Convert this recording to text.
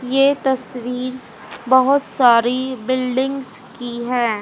ये तस्वीर बहोत सारी बिल्डिंग्स की हैं।